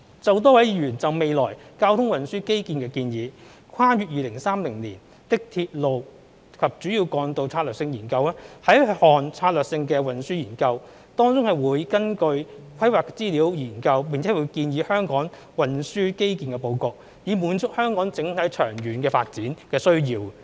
就多位議員就未來交通運輸基建的建議，《跨越2030年的鐵路及主要幹道策略性研究》是一項策略性運輸研究，當中會根據規劃資料研究並建議香港運輸基建的布局，以滿足香港整體長遠發展的需要。